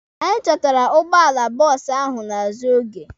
Anyị chọtara bọọsụ ahụ n'azụ oge.